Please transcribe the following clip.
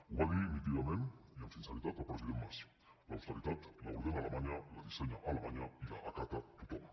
ho va dir nítidament i amb sinceritat el president mas l’austeritat l’ordena alemanya la dissenya alemanya i l’acata tothom